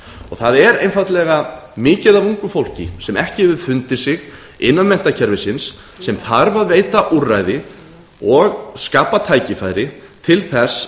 það er einfaldlega mikið af ungu fólki sem ekki hefur fundið sig innan menntakerfisins sem þarf að veita úrræði og skapa tækifæri til